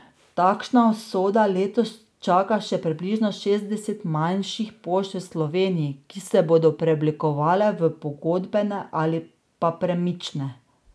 Takšna usoda letos čaka še približno šestdeset manjših pošt v Sloveniji, ki se bodo preoblikovale v pogodbene ali pa premične.